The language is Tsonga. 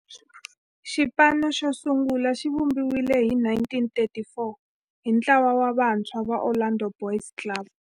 Xipano xosungula xivumbiwile hi 1934 hi ntlawa wa vantshwa va Orlando Boys Club.